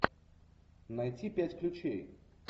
найти пять ключей